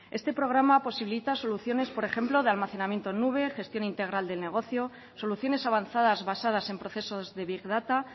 este programa posibilita soluciones por ejemplo de almacenamiento en nube gestión integral de negocio soluciones avanzadas basadas en procesos de big data